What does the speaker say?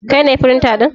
Kai ne firinta ɗin?